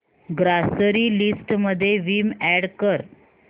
grocery list मध्ये Vim add कर